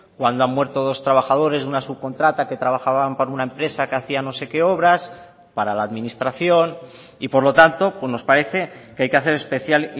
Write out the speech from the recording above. cuando han muerto dos trabajadores de una subcontrata que trabajaban para una empresa que hacían no sé qué obras para la administración y por lo tanto nos parece que hay que hacer especial